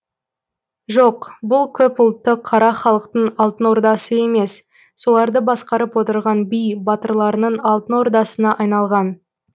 жоқ бұл көп ұлтты қара халықтың алтын ордасы емес соларды басқарып отырған би батырларының алтын ордасына айналған